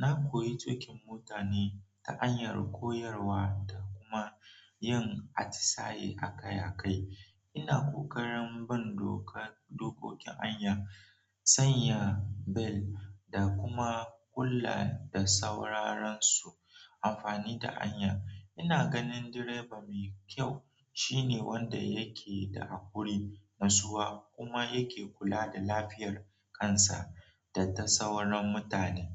Na koyi tuƙin mota ne ta hanyar koyarwa da kuma yin atisaye a kai a kai. Ina ƙoƙarin bin doka dokokin hanya, sanya bel da kuma kulla da sauraron su amfani da hanya. Ina ganin direba mai kyau shine wanda yake da hakuri nutsuwa kuma yake kula da lafiyar kansa da ta sauran mutane.